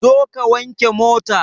Zo ka wanke mota!